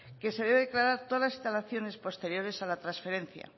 que se debe declarar todas las instalaciones posteriores a la transferencia